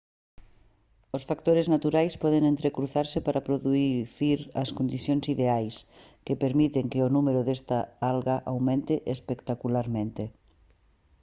os factores naturais poden entrecruzarse para producir as condicións ideais que permiten que o número desta alga aumente espectacularmente